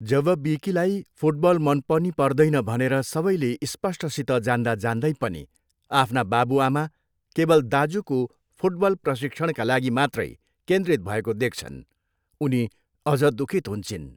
जब विकीलाई फुटबल मन पनि पर्दैन भनेर सबैेले स्पष्टसित जान्दा जान्दै पनि आफ्ना बाबुआमा केवल दाजुको फुटबल प्रशिक्षणका लागि मात्रै केन्द्रित भएको देख्छन्, उनी अझ दुखित हुन्छिन्।